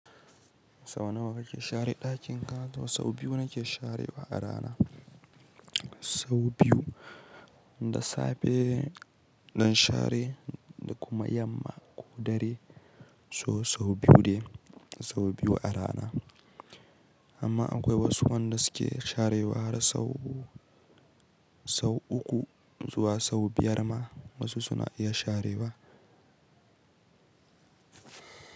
Sau nawa kake share ɗakin ka? Sau biyu nake sharewa a rana. Sau biyu, da safe don share da kuma yamma ko dare, so sau biyu ne, sau biyu a rana. Amma akwai wasu wanda suke sharewa har sau uku zuwa sau biyar ma wasu suna iya sharewa.